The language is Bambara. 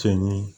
Cɛnni ye